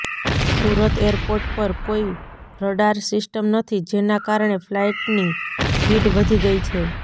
Surat airport પર કોઈ radar system નથી જેના કારણે ફ્લાઇટની ભીડ વધી ગઈ છે